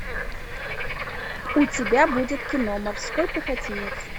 у тебя будет кино морской пехотинец